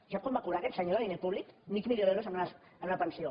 sap quant va cobrar aquest senyor de diner públic mig milió d’euros en una pensió